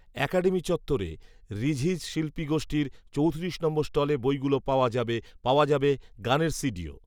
academy চত্বরে ‘ঋঝিজ শিল্পী গোষ্ঠী’র চৌত্রিশ নম্বর স্টলে বইগুলো পাওয়া যাবে, পাওয়া যাবে গানের সিডিও